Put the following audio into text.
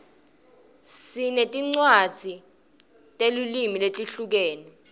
singtinewadzi regetiluimi letihlukene